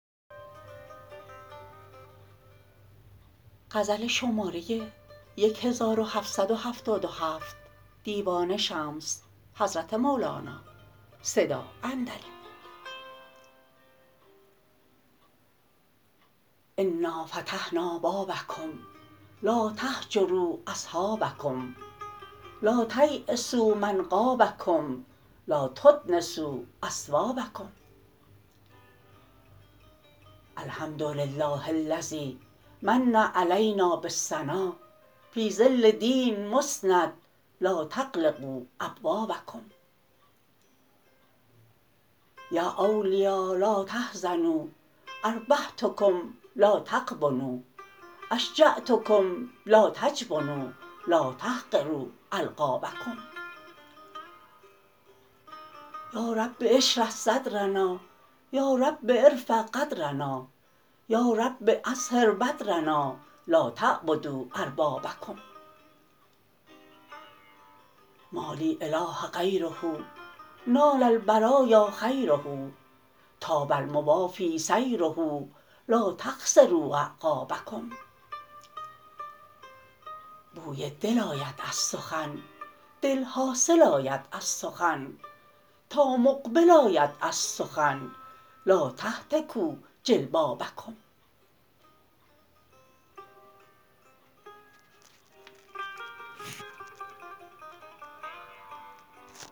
انا فتحنا بابکم لا تهجروا اصحابکم لا تییسوا من غابکم لا تدنسوا اثوابکم الحمد لله الذی من علینا بالثنا فی ظل دین مسند لا تغلقوا ابوابکم یا اولیا لا تحزنوا اربحتکم لا تغبنوا اشجعتکم لا تجبنوا لا تحقروا القابکم یا رب اشرح صدرنا یا رب ارفع قدرنا یا رب اظهر بدرنا لا تعبدوا اربابکم ما لی اله غیره نال البرا یا خیره طاب الموافی سیره لا تخسرو اعقابکم بوی دل آید از سخن دل حاصل آید از سخن تا مقبل آید از سخن لا تهتکوا جلبابکم